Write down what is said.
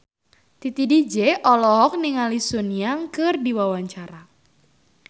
Titi DJ olohok ningali Sun Yang keur diwawancara